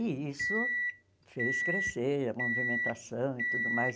E isso fez crescer a movimentação e tudo mais.